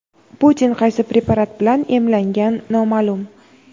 Putin qaysi preparat bilan emlangan noma’lum.